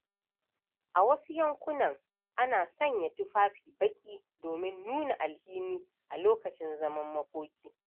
A wasu yankunan, ana sanya tufafi baƙi domin nuna alhini a lokacin zaman makoki.